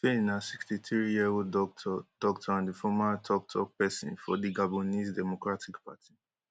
stphane na sixty-threeyearold doctor doctor and di former toktok pesin for di gabonese democratic party